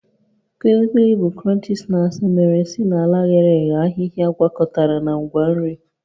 Kuli Kuli bụ crunchy snacks mere si n'ala ghere eghe ahịhịa gwakọtara na ngwa nri